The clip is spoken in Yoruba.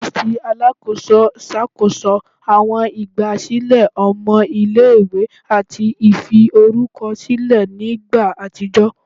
Ọ̀fiisi tí Alákóso ṣàkóso àwọn ìgbà sílẹ̀ ọmọ ilé-ìwé àti ìfi orúkọ sílẹ̀ ní ìgbà àtijọ́